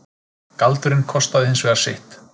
Galdurinn kostaði hins vegar sitt.